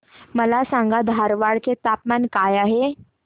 मला सांगा धारवाड चे तापमान काय आहे